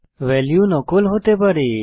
value নকল হতে পারে